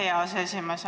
Aitäh, hea aseesimees!